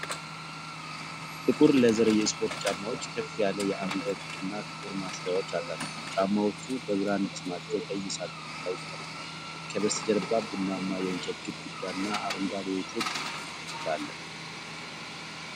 ጥቁር ሌዘር የስፖርት ጫማዎች፣ ከፍ ያለ አንገት እና ጥቁር ማሰሪያዎች አላቸው። ጫማዎቹ በብራንድ ስማቸው ቀይ ሳጥን ላይ ተቀምጠዋል፤ ከበስተጀርባ ቡናማ የእንጨት ግድግዳ እና አረንጓዴ የጥድ ተክል አለ።